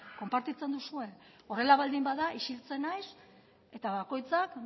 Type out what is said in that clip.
konpartitzen duzue horrela baldin bada isiltzen naiz eta bakoitzak